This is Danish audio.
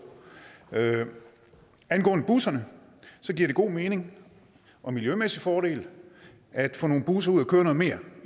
angående busserne giver det god mening og miljømæssige fordele at få nogle busser ud at køre noget mere